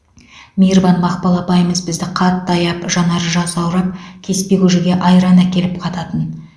мейірбан мақпал апайымыз бізді қатты аяп жанары жасаурап кеспе көжеге айран әкеліп қататын